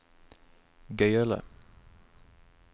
gøyale